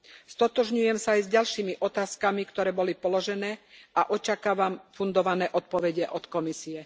Stotožňujem sa aj s ďalšími otázkami, ktoré boli položené, a očakávam fundované odpovede od Komisie.